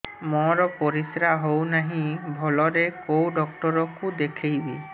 ମୋର ପରିଶ୍ରା ହଉନାହିଁ ଭଲରେ କୋଉ ଡକ୍ଟର କୁ ଦେଖେଇବି